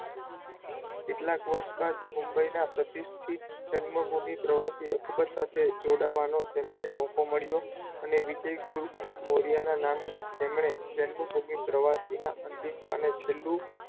કેટલાક વર્ષ બાદ મુંબઈના પ્રતિષ્ઠીત જન્મભૂમી પ્રવાસી અકબર સાથે જોડાવાનો તેમને મોકો મળ્યો અને વિજય ગુપ્ત મોર્યનાં નામે તેમણે જન્મભૂમી પ્રવાસીનાં અંતિમ પાને છેલ્લું,